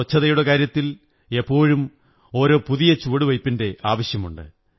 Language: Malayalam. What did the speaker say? സ്വച്ഛതയുടെ കാര്യത്തിൽ എപ്പോഴും ഓരോ പുതിയ ചുവടുവയ്പ്പിന്റെ ആവശ്യമുണ്ട്